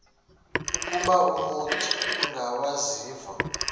ukuba umut ongawazivo